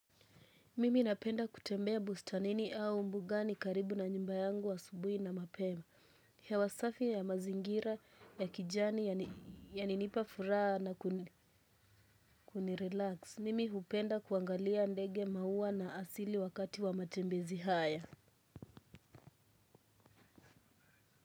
Mimi napenda kutembea bustanini au mbugani karibu na nyumba yangu asubuhi na mapema. Hewa safi ya mazingira ya kijani yalinipa furaha na kunirelax. Mimi hupenda kuangalia ndege mauwa na asili wakati wa matembezi haya.